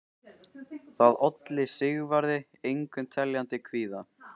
Það olli Sigvarði engum teljandi kvíða.